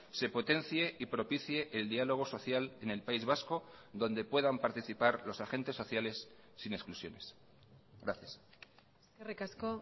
se potencie y propicie el diálogo social en el país vasco donde puedan participar los agentes sociales sin exclusiones gracias eskerrik asko